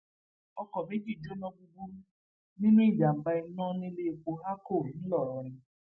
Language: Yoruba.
ọkọ méjì jóná gbúgbúrú nínú ìjàmbá iná níléèpo aacho ńlọrọrìn